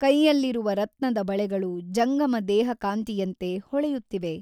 ಕೈಯಲ್ಲಿರುವ ರತ್ನದ ಬಳೆಗಳು ಜಂಗಮ ದೇಹಕಾಂತಿಯಂತೆ ಹೊಳೆಯುತ್ತಿವೆ.